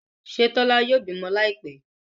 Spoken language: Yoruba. Ṣe Tola yóò bímọ Láìpé?